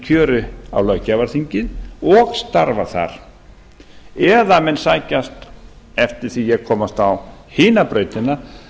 kjöri á löggjafarþingið og starfa þar ellegar menn sækjast eftir því að komast á hina brautina